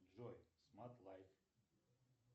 джой смарт лайф